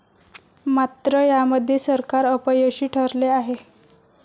मात्र, यामध्ये सरकार अपयशी ठरले आहे.